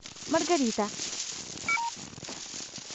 маргарита